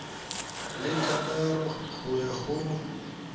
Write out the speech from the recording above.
le thataro go ya go